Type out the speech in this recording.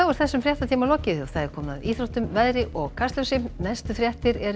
þessum fréttatíma er lokið og komið að íþróttum veðri og Kastljósi næstu fréttir eru